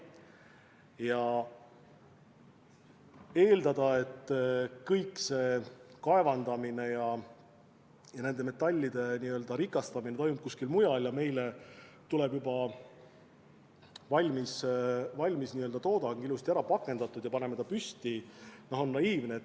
Ja eeldada, et kõik see kaevandamine ja nende metallide rikastamine toimub kuskil mujal ja meile tuleb juba valmistoodang, ilusti ära pakendatud, ja me paneme kõik lihtsalt püsti, on naiivne.